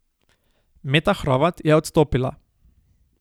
Meta Hrovat je odstopila.